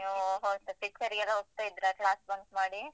ನೀವು ಹೋಗ್ತ picture ಗೆಲ್ಲ ಹೋಗ್ತಾ ಇದ್ರಾ class bunk ಮಾಡಿ?